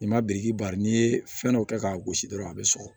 N'i ma biriki bari n'i ye fɛn dɔ kɛ k'a gosi dɔrɔn a be sɔgɔ